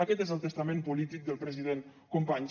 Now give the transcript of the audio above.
aquest és el testament polític del president companys